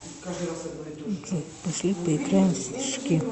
джой пошли поиграем в снежки